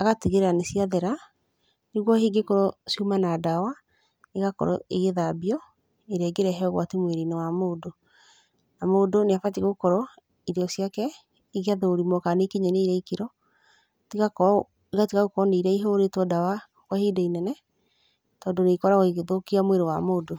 agatigĩrĩra nĩ cia there. Nĩguo hihi cingĩkorwo ciuma na ndawa igakorwo igĩthambio, ĩrĩa ĩngĩrehe ũgwati mũĩrĩ-inĩ wa mũndũ. Na mũndũ nĩ abatiĩ gũkorwo irio ciake igĩthurumwo kana nĩ ikinyanĩire ikĩro, igakorwo igatiga gũkorwo nĩ irĩa ihũrĩtwo ndawa kwa ihinda inene. Tondũ nĩ ikoragwo igĩthũkia mwĩrĩ wa mũndũ.